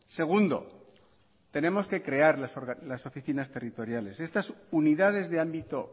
segundo tenemos que crear las oficinas territoriales estas unidades de ámbito